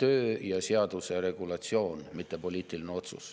töö ja seaduse regulatsioon, mitte poliitiline otsus.